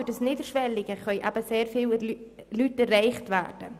Durch das Niederschwellige können sehr viele Leute erreicht werden.